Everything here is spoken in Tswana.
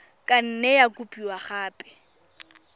ka nne ya kopiwa gape